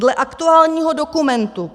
Dle aktuálních dokumentů